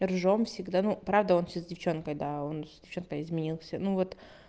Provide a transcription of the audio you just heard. ржём всегда ну правда он сейчас с девчонкой да он с девчонкой изменился ну вот